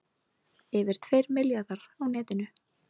Yfir tveir milljarðar á netinu